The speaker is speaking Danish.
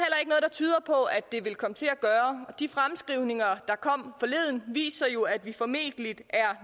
tyder på at det vil komme til at gøre og de fremskrivninger der kom forleden viser jo at vi formentlig er